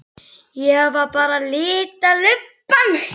Ég var bara að lita lubbann.